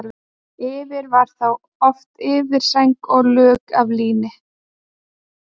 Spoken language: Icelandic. Yfir var þá oft yfirsæng og lök af líni.